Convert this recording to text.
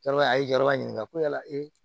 Yɔrɔ a ye jɔyɔrɔba ɲini ko yala ee